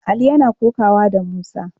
Ali yana kokawa da Musa.